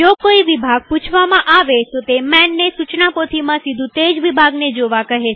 જો કોઈ વિભાગ પૂછવામાં આવેતો તે manને સુચના પોથીમાં સીધું તેજ વિભાગને જોવા કહે છે